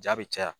Jaa bɛ caya